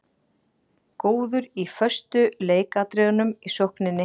Góður í föstu leikatriðunum í sókninni.